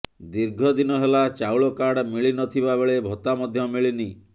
ଦୀର୍ଘ ଦିନ ହେଲା ଚାଉଳ କାର୍ଡ ମିଳିନଥିବା ବେଳେ ଭତ୍ତା ମଧ୍ୟ ମିଳିନି